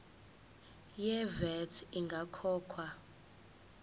ye vat ingakakhokhwa